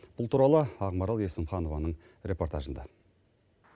бұл туралы ақмарал есімханованың репортажында